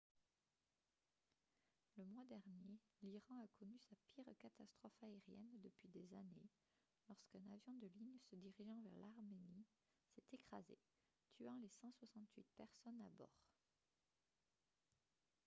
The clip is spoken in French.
le mois dernier l'iran a connu sa pire catastrophe aérienne depuis des années lorsqu'un avion de ligne se dirigeant vers l'arménie s'est écrasé tuant les 168 personnes à bord